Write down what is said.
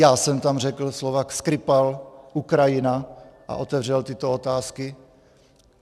Já jsem tam řekl slova Skripal, Ukrajina a otevřel tyto otázky.